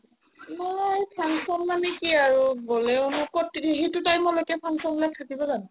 মই function মানে কি আৰু গ'লেও ন ক'ত তিনি সিটো time লৈকে function বিলাক থাকিব জানো